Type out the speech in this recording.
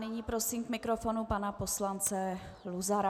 Nyní prosím k mikrofonu pana poslance Luzara.